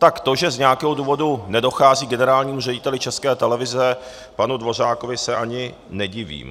Tak to, že z nějakého důvodu nedochází generálnímu řediteli České televize panu Dvořákovi, se ani nedivím.